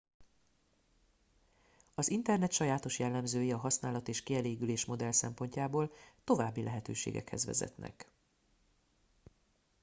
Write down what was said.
az internet sajátos jellemzői a használat és kielégülés modell szempontjából további lehetőségekhez vezetnek